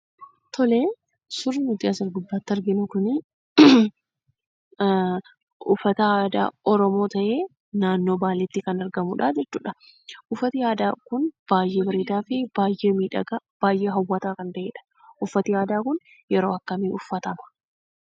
Tolee, suurri nuti as gubbaatti arginu kunii uffata aadaa oromoo ta'ee naannoo baaleetti kan argamudha. jechuudha. Uffati aadaa kun baayyee bareedaa fi baayyee miidhagaa, baayyee hawwataa kan ta'edha. Uffati aadaa kun yeroo akkamii uffatama?